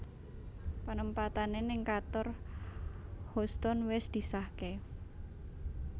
Penempatane ning kantor Houstoun wis disahke